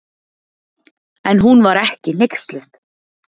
En hún var ekki hneyksluð.